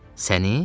Səni?